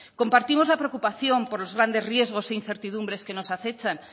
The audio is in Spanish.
compartimos la preocupación por los grandes riesgos e incertidumbres que nos acechan